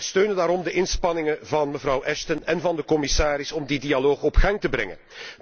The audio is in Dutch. Wij steunen daarom de inspanningen van mevrouw Ashton en van de commissaris om die dialoog op gang te brengen.